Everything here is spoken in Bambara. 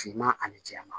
Finman ani jɛman